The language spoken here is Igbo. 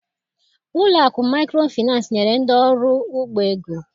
Ụlọakụ maịkrofịnansị nyere ndị ọrụ ugbo ego.